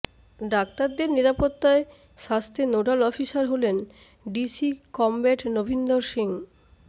ডাক্তারদের নিরাপত্তায় স্বাস্থ্যে নোডাল অফিসার হলেন ডিসি কমব্যাট নভিন্দর সিং